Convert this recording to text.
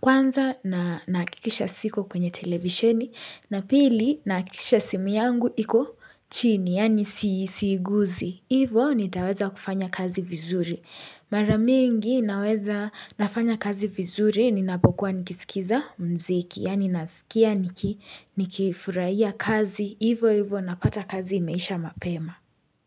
kwanza na nahakikisha siko kwenye televisheni na pili nahakikisha simu yangu iko chini, yaani siiguzi. Hivo nitaweza kufanya kazi vizuri. Mara mingi naweza nafanya kazi vizuri ninapokuwa nikisikiza muziki, yaani nasikia nikifurahia kazi. Hivo hivo napata kazi imeisha mapema.